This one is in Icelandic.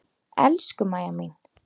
Elsku Mæja mín.